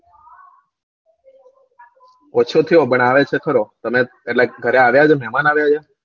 ઓછો થયો પણ આવે છે ખરો એટલે એટલે ઘરે આવ્યા છે મેમાન આયા છે